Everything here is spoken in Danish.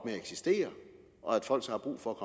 at eksistere og at folk så har brug for at